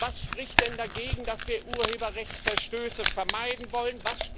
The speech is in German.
Was spricht denn dagegen, dass wir Urheberrechtsverstöße vermeiden wollen?